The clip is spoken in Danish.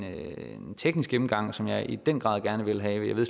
teknisk gennemgang som jeg i den grad gerne vil have jeg ved